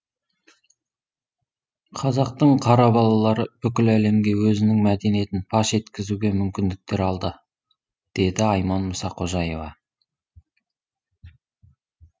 қазақтың қара балалары бүкіл әлемге өзінің мәдениетін паш еткізуге мүмкіндіктер алды деді айман мұсақожаева